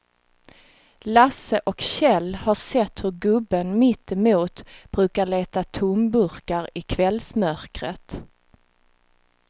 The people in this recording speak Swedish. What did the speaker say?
Lasse och Kjell har sett hur gubben mittemot brukar leta tomburkar i kvällsmörkret.